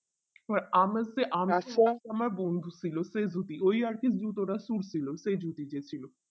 এবার আমেসি আমার বন্ধু ছিল সে যদি এই আরকি group ছিল সে দেখছিলো